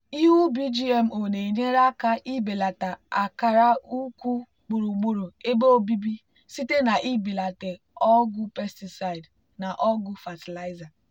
ihe ubi gmo na-enyere aka ibelata akara ukwu gburugburu ebe obibi site na ibelata ọgwụ pesticide na ọgwụ fatịlaịza.